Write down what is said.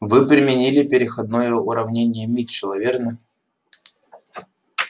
вы применили переходное уравнение митчелла верно